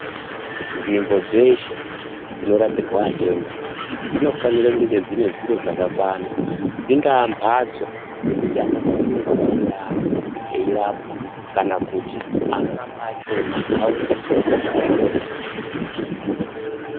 Nzvimbo dzeshe dzinorapirwa atenda dzinofanire kunge dzine zviro zvakakwana. Dzingaa mbatso dzekuti anobva kure auye aate eirapwa. Kana kuti anorapa achona aone pekugara eirapa atenda.